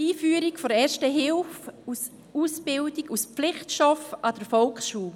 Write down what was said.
Einführung von Erster Hilfe als Ausbildung, als Pflichtstoff an der Volksschule: